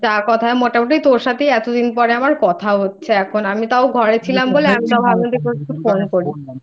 আর কথায় মোটামুটি তোর সাথে এতদিন পর আমার কথা হচ্ছে এখন৷ আমি তো ঘরে ছিলাম বলে এখন